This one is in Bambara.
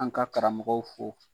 An ka karamɔgɔw fo.